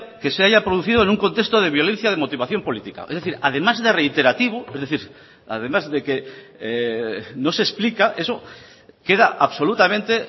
que se haya producido en un contexto de violencia de motivación política es decir además de reiterativo es decir además de que no se explica eso queda absolutamente